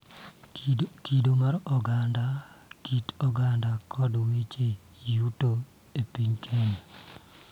Kido mar oganda, kit oganda, kod weche yuto e piny Kenya